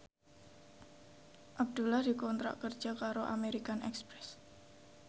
Abdullah dikontrak kerja karo American Express